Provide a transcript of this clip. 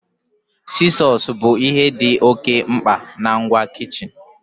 Sizos bụ bu ihe dị oke mkpa nke ngwa kichin.